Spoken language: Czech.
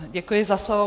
Děkuji za slovo.